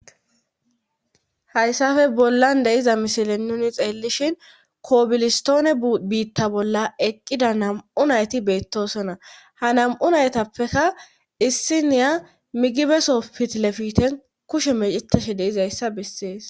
hayssafe bollan de iza misile nuni xeellishhin koobilistoone biitta bolla eqqida nam7u nayti beettoosona ha nam7u naytappeka issi niya migibeso pitilefiten kushe meceteshi de izayssa bessees